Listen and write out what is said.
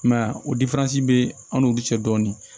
I m'a ye a be an n'u bi cɛ dɔɔnin